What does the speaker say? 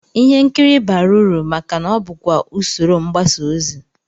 Ihe nkiri bara uru maka na ọ bụkwa usoro mgbasaozi